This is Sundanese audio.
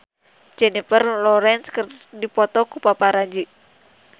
Jennifer Lawrence dipoto ku paparazi